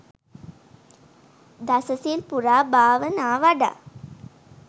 දසසිල් පුරා භාවනා වඩා